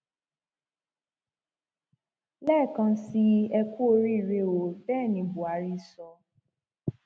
lẹẹkan sí i ẹ kúu oríire ó bẹẹ ní buhari sọ